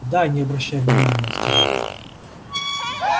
да не обращай внимание сказал